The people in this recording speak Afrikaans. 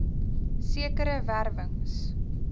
sekere wer wings